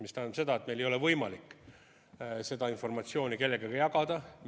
See tähendab seda, et meil ei ole võimalik seda informatsiooni kellegagi jagada.